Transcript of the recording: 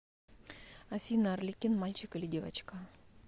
афина арлекин мальчик или девочка